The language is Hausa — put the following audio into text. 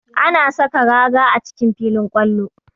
Ana saka raga a cikin filin kwallo